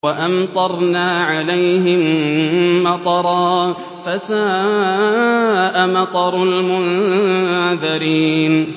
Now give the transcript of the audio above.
وَأَمْطَرْنَا عَلَيْهِم مَّطَرًا ۖ فَسَاءَ مَطَرُ الْمُنذَرِينَ